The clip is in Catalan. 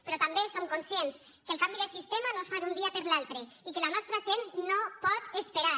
però també som conscients que el canvi de sistema no es fa d’un dia per l’altre i que la nostra gent no pot esperar